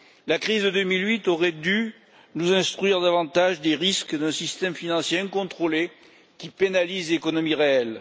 La crise de 2008 aurait dû nous instruire davantage des risques d'un système financier incontrôlé qui pénalise l'économie réelle.